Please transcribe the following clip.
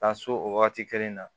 Ka so o wagati kelen na